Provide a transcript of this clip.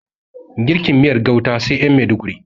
Girkin miyar gauta sai ƴan maiduguri